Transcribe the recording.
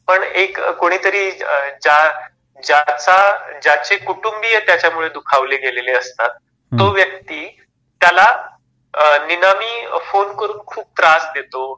पण एक कोणीतरी ज्याचा ज्याची कुटुंबीय त्याच्या मुळे दुखावली गेलेली असतात तो व्यक्ती त्याला नीनामी फोन करून खूप त्रास देतो